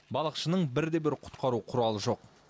балықшының бірде бір құтқару құралы жоқ